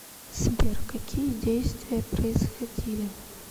сбер какие действия происходили